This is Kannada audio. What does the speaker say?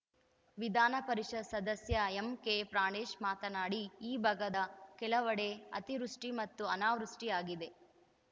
ವಿಧಾನ ಪರಿಷತ್‌ ಸದಸ್ಯ ಎಂಕೆಪ್ರಾಣೇಶ್‌ ಮಾತನಾಡಿ ಈ ಭಾಗದ ಕೆಲವೆಡೆ ಅತಿವೃಷ್ಟಿಮತ್ತು ಅನಾವೃಷ್ಟಿಆಗಿದೆ